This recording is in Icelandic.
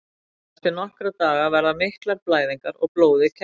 Eftir nokkra daga verða miklar blæðingar og blóðið kekkjast.